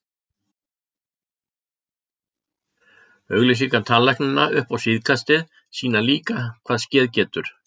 Auglýsingar tannlæknanna upp á síðkastið sýna líka, hvað skeð getur.